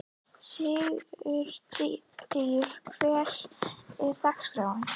Sigurdríf, hvernig er dagskráin?